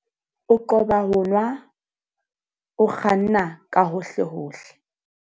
O qoba ho nwa o kganna ka hohlehohle.